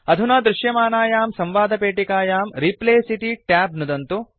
अधुना दृश्यमानायां संवादपेटिकायां रिप्लेस इति ट्याब नुदन्तु